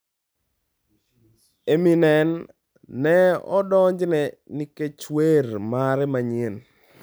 Eminem ne odonjne nikech wer mare manyien